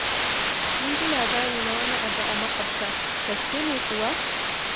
Mun ji labari na wani abu a maƙwabta, gaskiya ne kuwa?